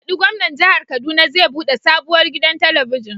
Baɗi Gwamnan Jihar Kaduna zai buɗe sabuwar gidan telibijin.